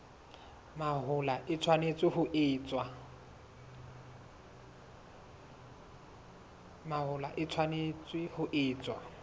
mahola e tshwanetse ho etswa